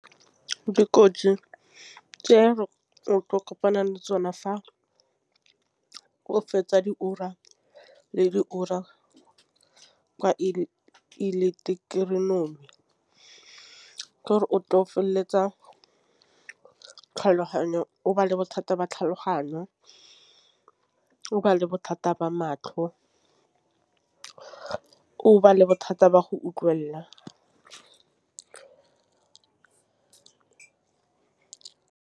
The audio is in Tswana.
Dikotsi tse re kopanang le tsona fa o fetsa diora le diora kwa ileketeroniki ke gore o tle o feleletsa tlhaloganyo. O ba le bothata ba tlhaloganyo ba le bothata ba matlho, o ba le bothata ba go utlwelela.